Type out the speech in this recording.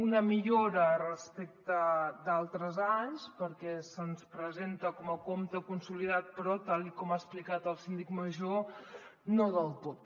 una millora respecte d’altres anys perquè se’ns presenta com a compte consolidat però tal com ha explicat el síndic major no del tot